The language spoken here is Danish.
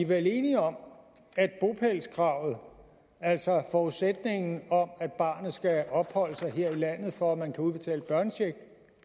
vel enige om at bopælskravet altså forudsætningen om at barnet skal opholde sig her i landet for at man kan udbetale børnecheck